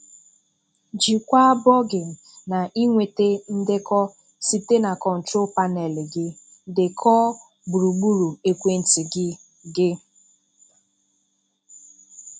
Jikwaa Bugging na ịnweta ndekọ site na Control Panel gi. Dekọọ gburugburu ekwentị gị. gị.